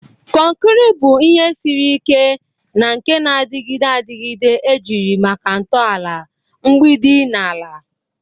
Konkiri bu ihe siri ike na nke na-adịgide adịgide ejiri maka ntọala, mgbidi na ala.